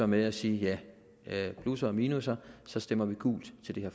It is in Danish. med at sige ja der er plusser og minusser så stemmer vi gult til det